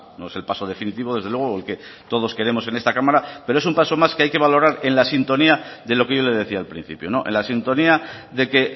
no es el paso definitivo desde luego el que todos queremos en esta cámara pero es un paso más que hay que valorar en la sintonía de lo que yo le decía al principio en la sintonía de que